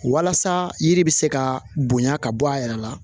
Walasa yiri bɛ se ka bonya ka bɔ a yɛrɛ la